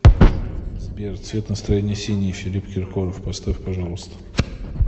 сбер цвет настроения синий филипп киркоров поставь пожалуйста